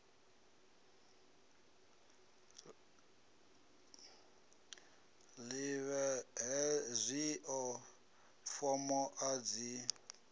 ḓivhe hezwio fomo a dzi